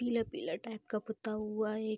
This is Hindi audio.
पीले-पीले टाइप का पोता हुआ है।